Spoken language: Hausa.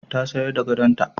Ta sayar da gadonta.